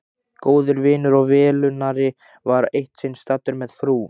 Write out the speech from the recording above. Góður vinur og velunnari var eitt sinn staddur með frú